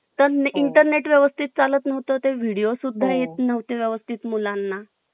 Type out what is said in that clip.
आयुष्यातील अत्यंत महत्त्वाचा काळ असतो. बालपणात इतका खोडकर आणि गोडवा असतो. की प्रत्येकाला पुन्हा बालपण जगावेसे वाटते. लहानपणी हळूहळू